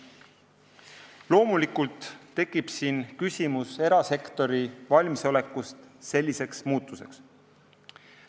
Loomulikult tekib küsimus erasektori valmisolekust selliseks muutuseks.